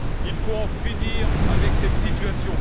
Il faut en finir avec cette situation.